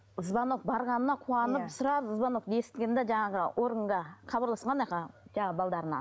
звонок барғанына қуанып сразу звонок естіген де жаңағы органға жаңағы